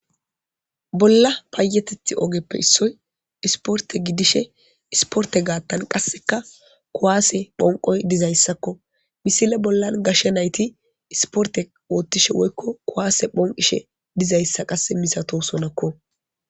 bolla payetethi ogeppe issoy isporte gidishe isporte gaattan qasseka kuwaase phonqoy dizayssakko misile bollan gashshe nayti isporte oottishe woykko kuwaase phonqishe dizayssa qasse misatosonakko